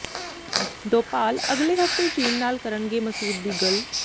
ਡੋਭਾਲ ਅਗਲੇ ਹਫ਼ਤੇ ਚੀਨ ਨਾਲ ਕਰਨਗੇ ਮਸੂਦ ਦੀ ਗੱਲ